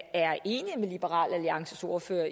liberal alliances ordfører